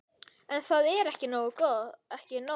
En það er ekki nóg.